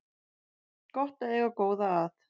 Gott er að eiga góða að